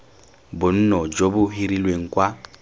bonno jo bo hirilweng kwa